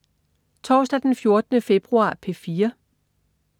Torsdag den 14. februar - P4: